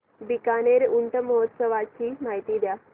बीकानेर ऊंट महोत्सवाची माहिती द्या